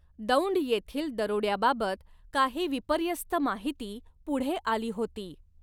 दौंड येथील दरोड्याबाबत काही विपर्यस्त माहिती पुढे आली होती.